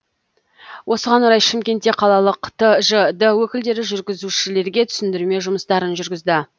осыған орай шымкентте қалалық тжд өкілдері жүргізушілерге түсіндірме жұмыстарын жүргізді